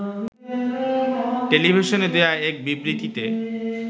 টেলিভিশনে দেয়া এক বিবৃতিতে